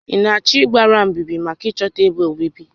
Ị na-achọ ịgbara mbíbí maka ịchọta ébé obibi?